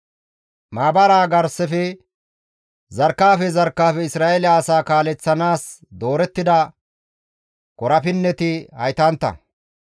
Maabaraa garsafe zarkkefe zarkkefe Isra7eele asaa kaaleththanaas doorettida korapinneti haytantta.